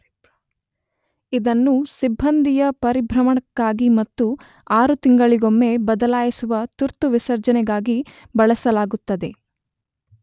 ಇದನ್ನು ಸಿಬ್ಬಂದಿಯ ಪರಿಭ್ರಮಣಕ್ಕಾಗಿ ಮತ್ತು ಆರು ತಿಂಗಳಿಗೊಮ್ಮೆ ಬದಲಾಯಿಸುವ ತುರ್ತು ವಿಸರ್ಜನೆಗಾಗಿ ಬಳಸಲಾಗುತ್ತದೆ.